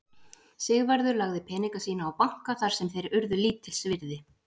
Sigvarður lagði peninga sína á banka þar sem þeir urðu lítils virði.